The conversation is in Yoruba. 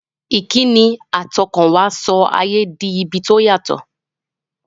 Ìkíni àtọkànwá sọ ayé di ibi tí ó yàtọ̀.